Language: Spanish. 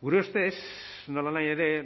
gure ustez nolanahi ere